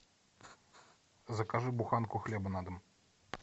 закажи буханку хлеба на дом